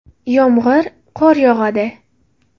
Yomg‘ir, qor yog‘adi.